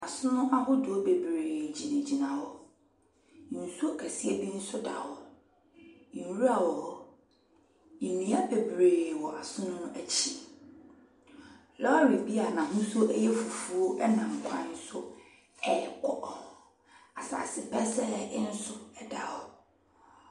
Asono ahodoɔ bebree gyinagyina hɔ. Nsuo kɛseɛ bi nso da hɔ. Nwura wɔ hɔ. Nnua bebree wɔ asono no akyi. Lɔre bi a n'ahosuo yɛ fufuo nam kwan so rekɔ. Asase pɛsɛɛ nso da hɔ.